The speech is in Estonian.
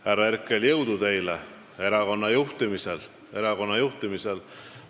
Härra Herkel, jõudu teile erakonna juhtimisel!